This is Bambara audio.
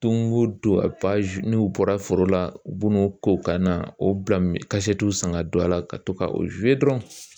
Don o don a n'u bɔra foro la u b'o ko ka na o bila ka san ka don a la ka to ka dɔrɔn